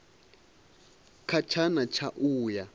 kha tshana tsha u a